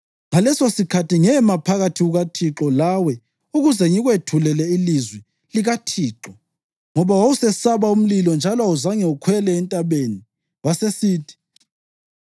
(Ngalesosikhathi ngema phakathi kukaThixo lawe ukuze ngikwethulele ilizwi likaThixo, ngoba wawusesaba umlilo njalo awuzange ukhwele entabeni.) Wasesithi: